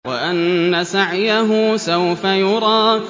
وَأَنَّ سَعْيَهُ سَوْفَ يُرَىٰ